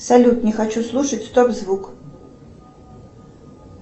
салют не хочу слушать стоп звук